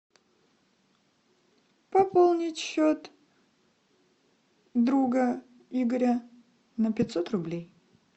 пополнить счет друга игоря на пятьсот рублей